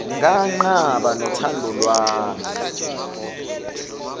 nganqaba nothando lwami